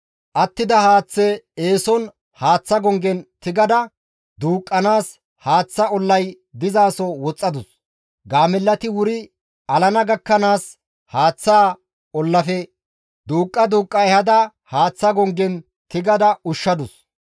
Attida haaththe eeson haaththa gonggen tigada duuqqanaas haaththa ollay dizaso woxxadus; gaamellati wuri alana gakkanaas haaththaa ollafe duuqqa duuqqa ehada haaththa gonggen tigada ushshadus.